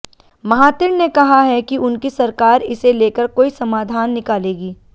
Mahathir ने कहा है कि उनकी सरकार इसे लेकर कोई समाधान निकालेगी